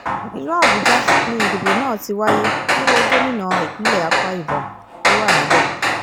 ìlú àbújá ni ìdìbò náà ti wáyé nílẹ̀ gómìnà ìpínlẹ̀ akwa ibom tó wà níbẹ̀